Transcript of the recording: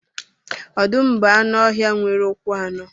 Ọdụm bụ anụ ọhịa nwere ụkwụ anọ